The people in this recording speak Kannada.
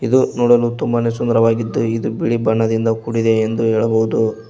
ಇದು ನೋಡಲು ತುಂಬಾನೇ ಸುಂದರವಾಗಿದ್ದು ಇದು ಬಿಳಿ ಬಣ್ಣದಿಂದ ಕೂಡಿದೆ ಎಂದು ಹೇಳಬಹುದು.